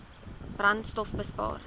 brandstofbespaar